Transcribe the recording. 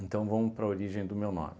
Então, vamos para a origem do meu nome.